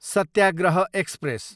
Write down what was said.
Satyagraha express